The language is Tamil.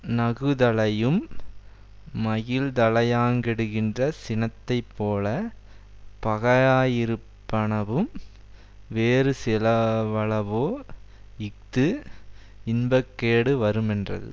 நகுதலையும் மகிழ்தலையாங் கெடுக்கின்ற சினத்தை போல பகயா யிருப் பனவும் வேறு சில வளவோ இஃது இன்பக்கேடு வருமென்றது